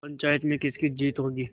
पंचायत में किसकी जीत होगी